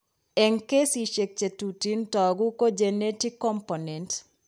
Eng kesisiek chetuteen toogu ko genetic component